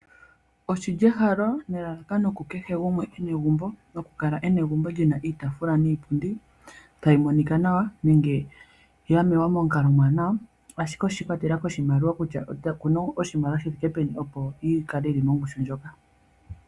Oshili ehalo nelalakano kukehe gumwe ena egumbo nokukala ena egumbo lina iitaafula niipundi tali monika nawa nenge yamewa momukalo omuwanawa ashike oshi ikwatelela koshimaliwa kutya omuntu okuna oshimaliwa shithike peni opo yikale yili mongushu ndjoka.